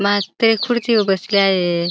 मास्तर खुर्ची वर बसले आहे.